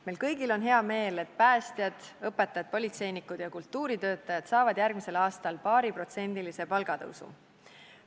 Meil kõigil on hea meel, et päästjad, õpetajad, politseinikud ja kultuuritöötajad saavad järgmisel aastal paariprotsendilise palgatõusu.